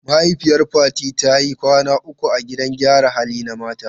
Mahaifiyar Fati ta yi kwana uku a gidan gyaran hali na mata.